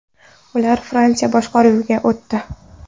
Ular Fransiya boshqaruviga o‘tdi.